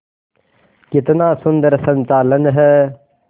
कितना सुंदर संचालन है